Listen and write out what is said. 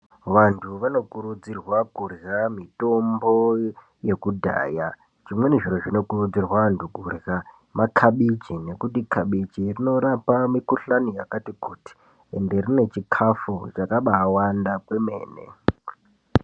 Vantu vanokurudzirwa kurya mitombo yekudhaya. Zvimweni zviro zvinokurudzirwa antu kurya makabichi nekuti kabichi rinorapa mikuhlani yakati kuti. Ende rine chikafu chakaba wanda kwemene.